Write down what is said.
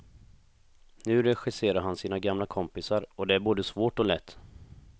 Nu regisserar han sina gamla kompisar och det är både svårt och lätt.